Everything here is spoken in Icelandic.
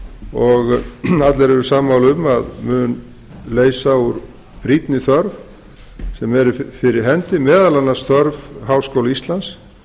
og allir eru sammála um að mun leysa úr brýnni þörf sem er fyrir hendi óþörf háskóla íslands